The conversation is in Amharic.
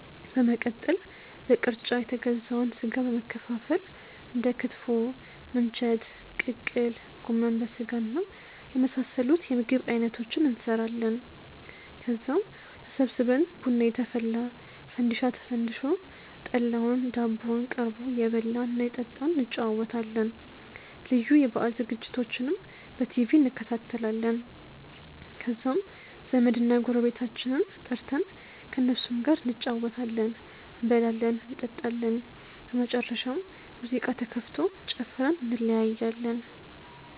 በመቀጠል በቅርጫ የተገዛውን ስጋ በመከፋፈል እንደ ክትፎ፣ ምንቸት፣ ቅቅል፣ ጎመን በስጋና የመሳሰሉት የምግብ አይነቶችን እንሰራለን። ከዛም ተሰብስበን ቡና እየተፈላ፣ ፈንዲሻ ተፈንድሶ፣ ጠላውና ዳቦው ቀርቦ እየበላን እና እየጠጣን እንጨዋወታለን። ልዩ የበአል ዝግጅቶችንም በቲቪ እንከታተላለን። ከዛም ዘመድና ጎረቤቶቻችንን ጠርተን ከእነሱም ጋር እንጨዋወታለን፤ እንበላለን እንጠጣለን። በመጨረሻም ሙዚቃ ተከፍቶ ጨፍረን እንለያያለን።